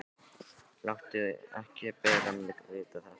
Láttu ekki bara mig vita þetta.